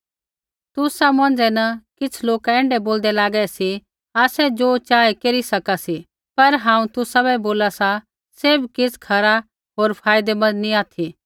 तुसा मौंझ़ै न किछ़ लोका ऐण्ढै बोलदै लागै सी आसै ज़ो चाहे केरी सका सी पर हांऊँ तुसाबै बोला सा सैभ किछ़ खरा होर फायदैमन्द नैंई ऑथि